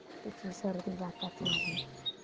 तिची सर्दी जातच नाही.